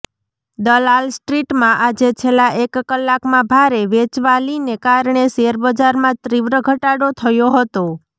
દલાલ સ્ટ્રીટમાં આજે છેલ્લાં એક કલાકમાં ભારે વેચવાલીને કારણે શેરબજારમાં તીવ્ર ઘટાડો થયો હતો